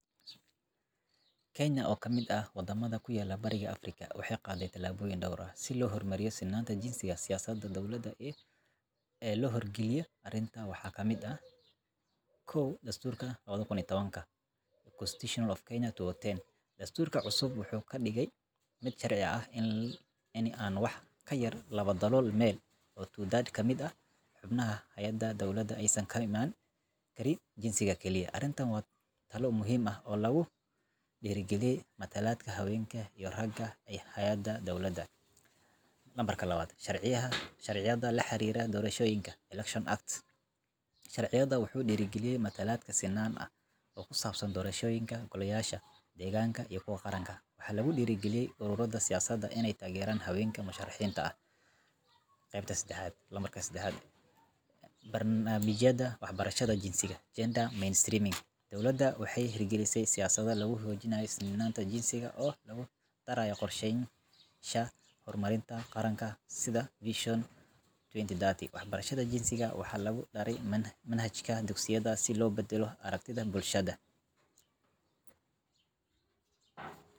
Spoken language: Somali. Kenya, oo ka mid ah waddamada ku yaal Bariga Afrika, waxay qaadday tallaabooyin dhowr ah si loo hormariyo sinnaanta jinsiga. Siyaasadaha dowladda ee loo hirgeliyay arrintan waxaa ka mid ah: 1.Dastuurka 2010 Constitution of Kenya 2010 Dastuurka cusub wuxuu ka dhigay mid sharci ah in aan wax ka yar laba-dalool meel 2amah3 ka mid ah xubnaha hay'adaha dawladda aysan ka imaan karin jinsiga keliya. Arrintani waa tallaabo muhiim ah oo lagu dhiirrigelinayo matalaadda haweenka iyo ragga ee hay'adaha dawladda. 2 Sharciyada La Xiriira Doorashooyinka Elections Act Sharcigan wuxuu dhiirrigeliyaa matalaad sinnaan ah oo ku saabsan doorashooyinka golayaasha deegaanka iyo kuwa qaranka. Waxaa lagu dhiirrigeliyay ururrada siyaasadeed inay taageeraan haweenka musharaxiinta ah. 3 Barnaamijyada Waxbarashada Jinsiga Gender Mainstreaming Dowladda waxay hirgelisay siyaasado lagu xoojinayo sinnaanta jinsiga oo lagu daraayo qorsheyaasha horumarinta qaranka sida Vision 2030. Waxbarashada jinsiga waxaa lagu daray manhajka dugsiyada si loo beddelo aragtida bulshada.